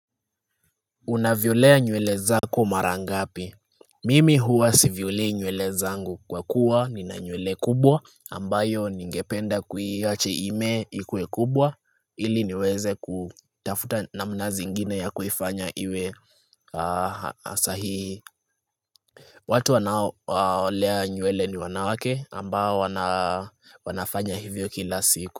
Unavyolea nywele zako mara ngapi? Mimi huwa siviolei nywele zangu kwa kuwa nina nywele kubwa ambayo ningependa kuiacha imee ikue kubwa ili niweze kutafuta namna zingine ya kufanya iwe asahii. Watu wanaolea nywele ni wanawake ambayo wanafanya hivyo kila siku.